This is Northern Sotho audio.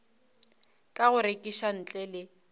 ka go rekiša ntle le